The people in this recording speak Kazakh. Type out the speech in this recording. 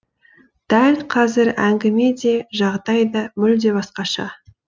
дәл қазір әңгіме де жағдай да мүлде басқаша